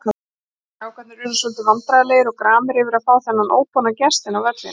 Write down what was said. Strákarnir urðu svolítið vandræðalegir og gramir yfir að fá þennan óboðna gest inn á völlinn.